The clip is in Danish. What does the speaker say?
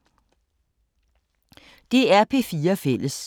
DR P4 Fælles